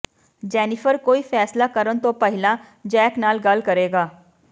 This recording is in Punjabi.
ਜੈਨੀਫ਼ਰ ਕੋਈ ਫ਼ੈਸਲਾ ਕਰਨ ਤੋਂ ਪਹਿਲਾਂ ਜੈਕ ਨਾਲ ਗੱਲ ਕਰੇਗਾ